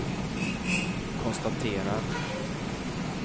konstaterar